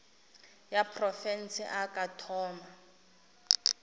ya profense a ka thoma